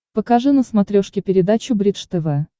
покажи на смотрешке передачу бридж тв